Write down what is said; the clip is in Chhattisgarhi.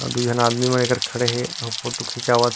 अऊ दू झन आदमी मन एकर खड़े हे और फोटो खिचावत--